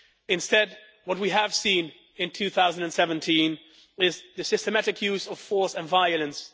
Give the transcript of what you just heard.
Instead, what we have seen in 2017 is the systematic use of force and violence